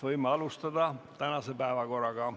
Võime alustada tänase päevakorraga.